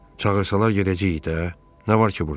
Çağırsalar gedəcəyik də, nə var ki burda?